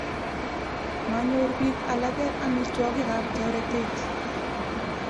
Manyor piik alake amitwogik ap toretet.